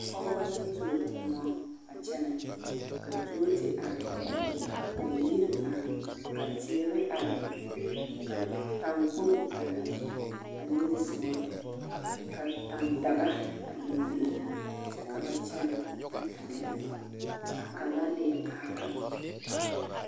Pɔgebɔ la tuo kõɔ a kyɛnɛ, ka tuo te are, ka yiri are, ka teere are, ka taŋkpoŋ are a niŋesogɔ, ka tandaga a biŋ biŋ kyɛ ka ba kyɛnɛ a gɛrɛ ka kaŋa leɛ kaara.